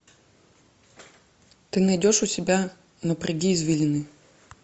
ты найдешь у себя напряги извилины